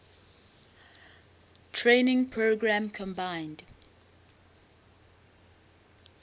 training program combined